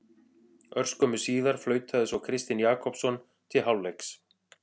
Örskömmu síðar flautaði svo Kristinn Jakobsson til hálfleiks.